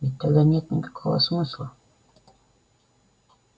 ведь тогда нет никакого смысла